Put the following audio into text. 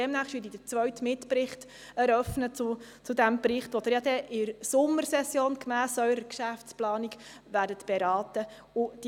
Demnächst werde ich den zweiten Mitbericht zu diesem Bericht eröffnen, den Sie gemäss Ihrer Geschäftsplanung in der Sommersession beraten werden.